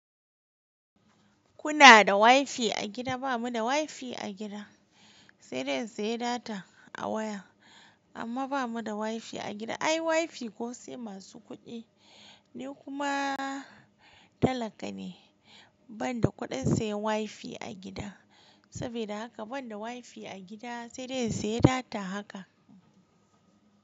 Kuna da WiFi a gida? Ba mu da WiFi a gida, sai dai in saye data a waya. Amma ba mu da WiFi a gida, ai WiFi ko sai masu kuɗi. Ni kuma talaka ne, ban da kuɗin sayan WiFi a gida. Sabida haka ban da WiFi a gida sai dai in saye data haka.